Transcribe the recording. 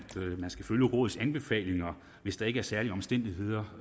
man skal følge rådets anbefalinger hvis der ikke er særlige omstændigheder